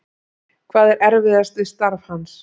Hvað er erfiðast við starf hans?